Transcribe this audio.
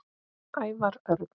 Ævar Örn